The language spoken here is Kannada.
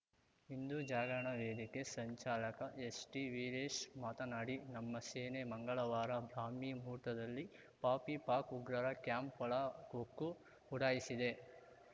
ಹಿಂದು ಜಾಗರಣ ವೇದಿಕೆ ಸಂಚಾಲಕ ಎಸ್‌ಟಿವೀರೇಶ್ ಮಾತನಾಡಿ ನಮ್ಮ ಸೇನೆ ಮಂಗಳವಾರ ಬ್ರಾಹ್ಮಿ ಮುಹೂರ್ತದಲ್ಲಿ ಪಾಪಿ ಪಾಕ್‌ ಉಗ್ರರ ಕ್ಯಾಂಪ್‌ ಒಳ ಹೊಕ್ಕು ಉಡಾಯಿಸಿದೆ